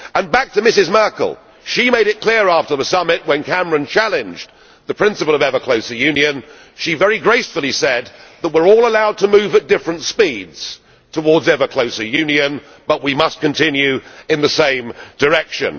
To come back to Ms Merkel she was quite clear, after the summit when Cameron challenged the principle of ever closer union, and she very gracefully said that we are all allowed to move at different speeds towards ever closer union, but we must continue in the same direction.